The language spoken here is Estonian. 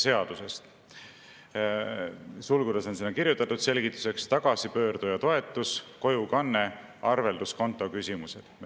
Sulgudesse on kirjutatud selgituseks "tagasipöörduja toetus, kojukanne, arvelduskonto küsimused".